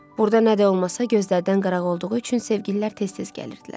Burda nə də olmasa gözlərdən qıraq olduğu üçün sevgililər tez-tez gəlirdilər.